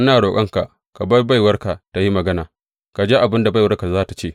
Ina roƙonka ka bar baiwarka ta yi magana, ka ji abin da baiwarka za tă ce.